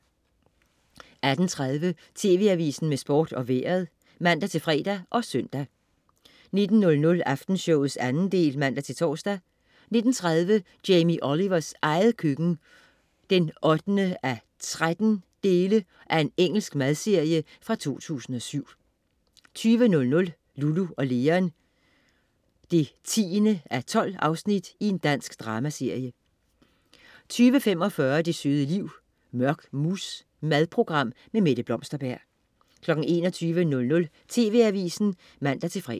18.30 TV Avisen med Sport og Vejret (man-fre og søn) 19.00 Aftenshowet 2. del (man-tors) 19.30 Jamie Olivers eget køkken 8:13. Engelsk madserie fra 2007 20.00 Lulu & Leon 10:12. Dansk dramaserie 20.45 Det søde liv. Mørk mousse. Madprogram. Mette Blomsterberg 21.00 TV Avisen (man-fre)